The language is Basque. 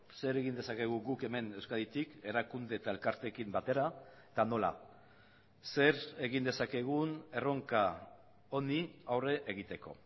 zer egin dezakegu guk hemen euskaditik erakunde eta elkarteekin batera eta nola zer egin dezakegun erronka honi aurre egiteko